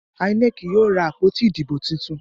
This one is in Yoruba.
INEC yíò rá àpótí Ìdìbò títún.